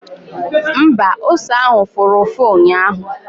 Mba, ose ahụ fụrụ ụfụ ụnyaahụ